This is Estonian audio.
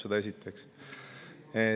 Seda esiteks.